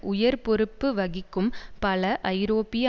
உயர் பொறுப்பு வகிக்கும் பல ஐரோப்பிய